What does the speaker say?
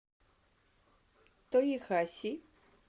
тоехаси